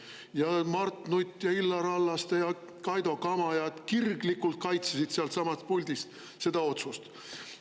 Ja Mart Nutt ja Illar Hallaste ja Kaido Kama kirglikult kaitsesid sealtsamast puldist seda otsust.